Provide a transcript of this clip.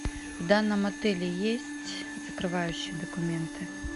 в данном отеле есть закрывающие документы